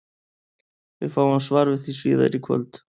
Við fáum svar við því síðar í kvöld!